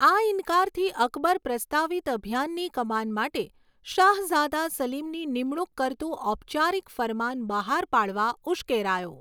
આ ઈન્કારથી અકબર પ્રસ્તાવિત અભિયાનની કમાન માટે શાહઝાદા સલીમની નિમણુંક કરતું ઔપચારિક ફરમાન બહાર પાડવા ઉશ્કેરાયો.